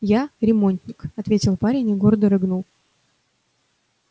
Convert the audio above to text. я ремонтник ответил парень и гордо рыгнул